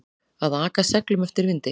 Að aka seglum eftir vindi